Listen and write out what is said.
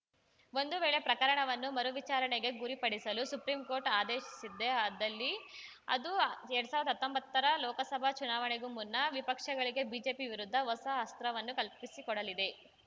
ಒಂದು ವೇಳೆ ಪ್ರಕರಣವನ್ನು ಮರು ವಿಚಾರಣೆಗೆ ಗುರಿಪಡಿಸಲು ಸುಪ್ರಿಂಕೋರ್ಟ್‌ ಆದೇಶಿಸಿದ್ದೇ ಆದಲ್ಲಿ ಅದು ಎರಡ್ ಸಾವಿರ್ದಾ ಹತ್ತೊಂಬತ್ತರ ಲೋಕಸಭಾ ಚುನಾವಣೆಗೂ ಮುನ್ನ ವಿಪಕ್ಷಗಳಿಗೆ ಬಿಜೆಪಿ ವಿರುದ್ಧ ಹೊಸ ಅಸ್ತ್ರವನ್ನು ಕಲ್ಪಿಸಿಕೊಡಲಿದೆ